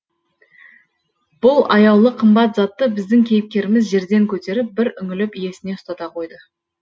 бұл аяулы қымбат затты біздің кейіпкеріміз жерден көтеріп бір үңіліп иесіне ұстата қойды